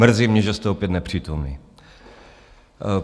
Mrzí mě, že jste opět nepřítomný.